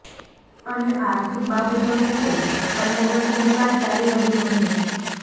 અને આર્થિક બાબતોને લઈ બન્ને વચ્ચે વિવાદ ચાલી રહ્યો હતો